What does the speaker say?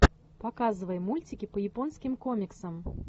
показывай мультики по японским комиксам